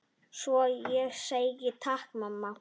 Svo ég segi: Takk mamma.